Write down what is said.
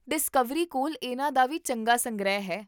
Discovery ਕੋਲ ਇਹਨਾਂ ਦਾ ਵੀ ਚੰਗਾ ਸੰਗ੍ਰਹਿ ਹੈ